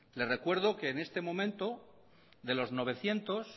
le recuerdo que en este momento de lo novecientos